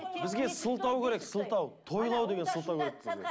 бізге сылтау керек сылтау